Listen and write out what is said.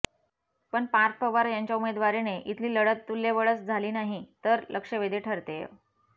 पण पार्थ पवार यांच्या उमेदवारीने इथली लढत तुल्यबळच झाली नाही तर लक्षवेधी ठरतेय